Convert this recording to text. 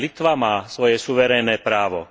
Aj Litva má svoje suverénne právo.